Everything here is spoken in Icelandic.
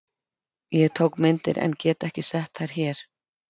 Ég tók myndir en get ekki sett þær hér.